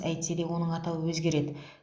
әйтсе де оның атауы өзгереді